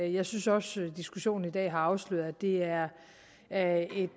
jeg synes også diskussionen i dag har afsløret at det er er et